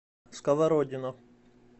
сковородино